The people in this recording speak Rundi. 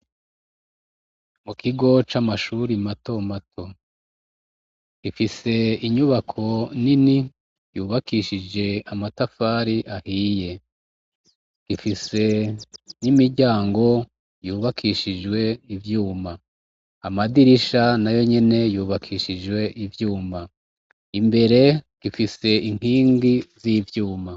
Mu kigo c'amashuri matomato ifise inyubako nini yubakishije amatafari ahiye. Ifise n'imiryango yubakishijwe ivyuma. Amadirisha nayo nyene yubakishijwe ivyuma. Imbere ifise inkingi z'ivyuma.